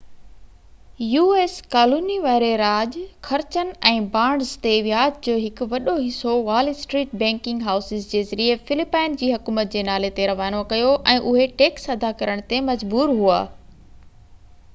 u.s. Colony واري راڄ خرچن ۽ بانڊز تي وياج جو هڪ وڏو حصو وال اسٽريٽ بئنڪنگ هائوسز جي ذريعي فلپائن جي حڪومت جي نالي تي روانو ڪيو ۽ اهي ٽيڪس ادا ڪرڻ تي مجبور هئا